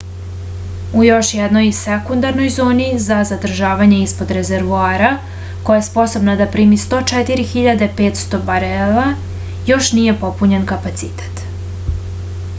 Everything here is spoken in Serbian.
u još jednoj sekundarnoj zoni za zadržavanje ispod rezervoara koja je sposobna da primi 104.500 barela još nije popunjen kapacitet